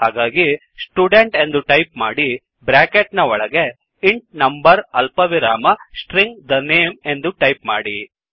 ಹಾಗಾಗಿ ಸ್ಟುಡೆಂಟ್ ಎಂದು ಟೈಪ್ ಮಾಡಿ ಬ್ರ್ಯಾಕೆಟ್ ನ ಒಳಗೆ ಇಂಟ್ ನಂಬರ್ ಅಲ್ಪವಿರಾಮ ಸ್ಟ್ರಿಂಗ್ the name ಎಂದು ಟೈಪ್ ಮಾಡಿ